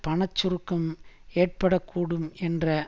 பண சுருக்கம் ஏற்பட கூடும் என்ற